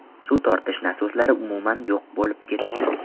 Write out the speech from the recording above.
Suv tortish nasoslari umuman yo‘q bo‘lib ketgan.